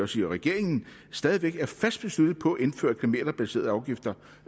sige regeringen stadig væk er fast besluttet på at indføre kilometerbaserede afgifter